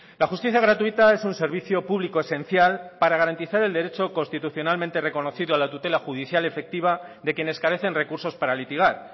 la justicia gratuita es un servicio público esencial para garantizar el derecho constitucionalmente reconocido a la tutela judicial efectiva de quienes carecen recursos para litigar